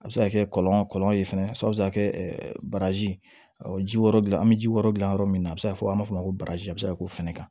A bɛ se ka kɛ kɔlɔn kɔlɔlɔ ye fana a bɛ se ka kɛ baraji ɔ ji wɛrɛ dilan an bɛ ji wɛrɛ dilan yɔrɔ min na a bɛ se ka fɔ an b'a fɔ o ma ko bazɛn a bɛ se ka k'o fana kan